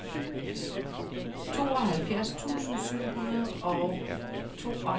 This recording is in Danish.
tooghalvfjerds tusind syv hundrede og tooghalvfjerds